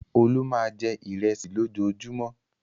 Olú máa jẹ ìrẹsì lójoojúmọ́.